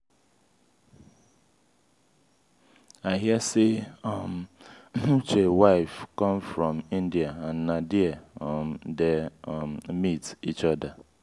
i hear say um uche wife come from india and na there um dey um meet each other.